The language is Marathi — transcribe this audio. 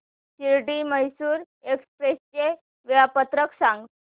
शिर्डी मैसूर एक्स्प्रेस चे वेळापत्रक सांग